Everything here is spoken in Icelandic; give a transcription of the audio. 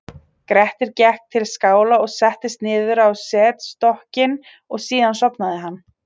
grettir gekk til skála og settist niður á setstokkinn og síðan sofnaði hann